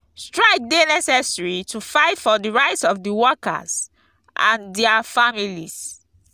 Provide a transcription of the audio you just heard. strike dey necessary to fight for di rights of di workers and dia families.